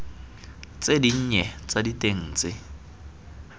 tse dinnye tsa diteng tse